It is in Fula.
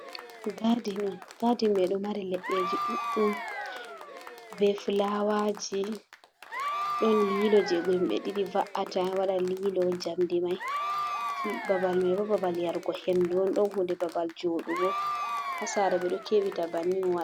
Gadin on, gadin mai ɗo mari leɗɗeji ɗuɗɗum, be fulawaji, ɗon lilo je himɓe ɗiɗi va’ata waɗa lilo jamdi mai, babal babal yargo hendu on, ɗon hunde babal joɗugo hasara ɓeɗo kebita bannin waɗa.